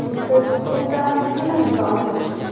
Biz to‘xtamasligimiz lozim.